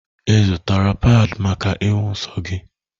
Ị zụtara padi maka ịhụ nsọ gị?